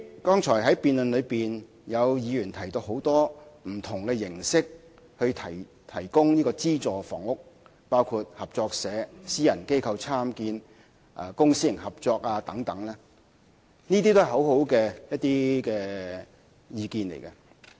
剛才在辯論中，有議員提到很多提供資助房屋的形式，包括合作社、私人機構參建、公私營合作等，這些都是一些很好的意見。